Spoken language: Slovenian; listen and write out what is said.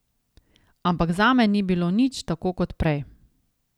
Ampak zame ni bilo nič tako kot prej.